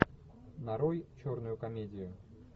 нарой черную комедию